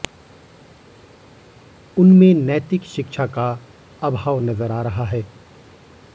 उनमें नैतिक शिक्षा का अभाव नजर आ रहा है